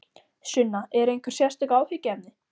Sunna: Eru einhver sérstök áhyggjuefni?